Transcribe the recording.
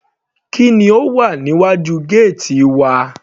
Kí ni ó wà níwájú gẹ́ẹ́tì wa.